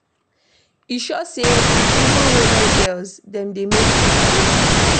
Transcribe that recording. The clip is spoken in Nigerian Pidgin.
E sure me sey even role models dem dey make mistake.